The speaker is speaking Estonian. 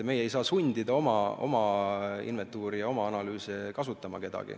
Meie ei saa sundida kedagi oma inventuuri ja oma analüüse kasutama.